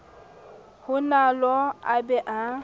ho nalo a be a